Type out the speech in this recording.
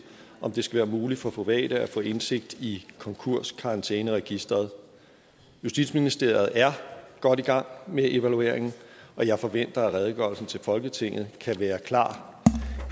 om det skal være muligt for private at få indsigt i konkurskarantæneregisteret justitsministeriet er godt i gang med evalueringen og jeg forventer at redegørelsen til folketinget kan være klar